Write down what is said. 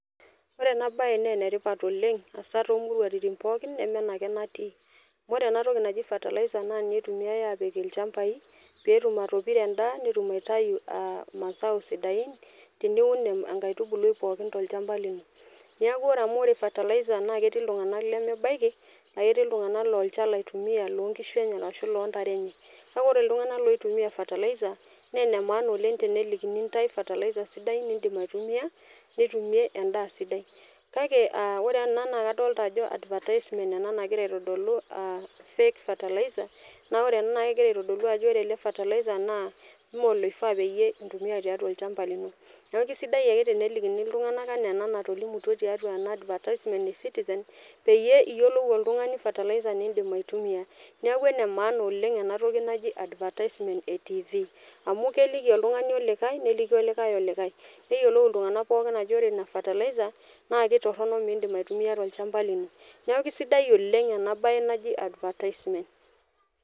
Ore ena bae naa enetipat oleng asaa tomuruatini pooki neme ena ake natii amu ore ena toki naji fertilizer ninye itumiae apik ilchambai pee etum atopiro endaa netum aitayu masao sidain teniun inkaitubulu pookin tolchamba lino neaku ore amu fertilizer netii iltunganak lemebaiki netii iltunganak laa olchala itumia loo nkishu enye ashu loo ntare enye kake ore iltunganak loitumia fertilizer naa enemaana oleng tenelikini intae fertilizer sidai nidim aitumia nitumie endaa sidai ore tene naa kadolita ajo advertisement nagira aitodolu ah fake fertilizer naa ore ena naa kegira aitodolu ajo ore ena fertilizer mee oloifaa pee itumia tiatua olchamba lino neaku kisidai ake tenelikini iltunganak enaa ena natolikioki tena advertisement ee citizen peyie iyiolou oltungani fertilizer nidim aitumia neaku ena maana oleng ena toki naji advertisement amu keliki oltungani olikae neliki olikake olikae neyiolou iltunganak pooki ajo ore ina fertilizer naa kitorono midim aitumia tolchamba lino neaku kisidai oleng ena bae naji advertisement